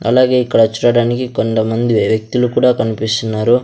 అలాగే ఇక్కడ చూడడానికి కొంతమంది వ్యక్తులు కూడా కన్పిస్తున్నారు.